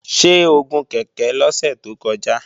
Ṣé o gun kèké lọ́sẹ̀ tó kọjá?